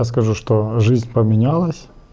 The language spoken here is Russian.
скажу что жизнь поменялась